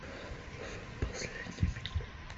в последний миг